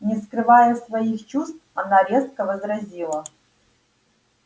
не скрывая своих чувств она резко возразила